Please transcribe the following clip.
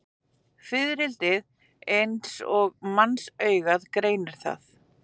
Fiðrildi eins og mannsaugað greinir það.